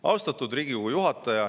Austatud Riigikogu juhataja!